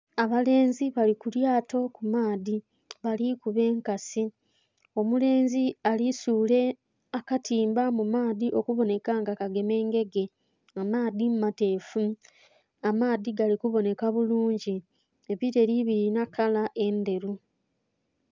Abalenzi bali ku lyato ku maadhi, bali kuba enkasi. Omulenzi ali suula akatimba mu maadhi okubonheka nga kagema engege. Amaadhi mateefu. Amaadhi gali kubonheka bulungi. Ebileli bilina kala endheru.